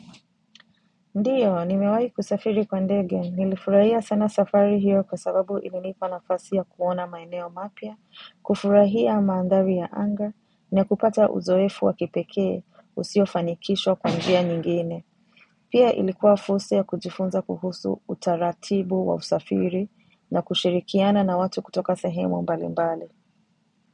Ndiyo, nimewai kusafiri kwa ndege. Nilifurahia sana safari hiyo kwa sababu ilinipa nafasi ya kuona maeneo mapya, kufurahia maandhari ya anga, na kupata uzoefu wa kipekee usio fanikisho kwa njia nyingine. Pia ilikuwa fursa ya kujifunza kuhusu utaratibu wa usafiri na kushirikiana na watu kutoka sahemu mbali mbali.